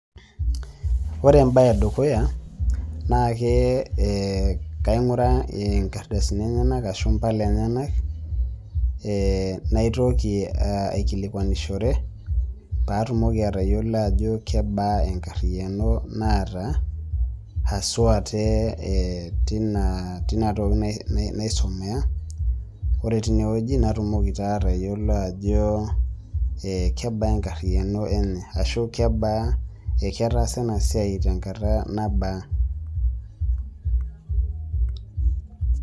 ore embae e dukuya naa kee eeh eeh kaing'uraa nkardasini enyenak ashu impala emnyenak. eeh naitoki eeh aikilikwanishore paatumoki atayiolou ajo kebaa enkariyiano naata haswa tee eeh tina tina toki naisumea ore tinewueji natumoki taa tayiolo ajo eeh kebaa enkariyiano enye ashu kebaa ketaasa ena siai tenkata nabaa